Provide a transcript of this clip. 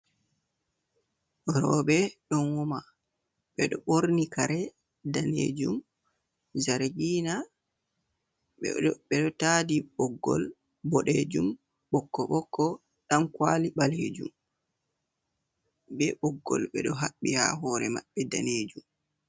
Robe donwoma bedo borni kare danejum zargina, bedo tadi boggol bodejum bokko bokko dankwali balejum be boggol bedo habbi ha hore mabbe danejum.